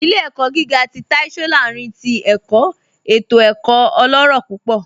Ilẹ̀-ẹ̀kọ̀ gígà tì Táì Sọ́lárìn tì ẹ̀kọ̀ ètò ẹ̀kọ̀ ọlọ́rọ̀ púpọ̀